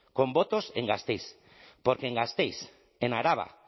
con votos en gasteiz porque en gasteiz en araba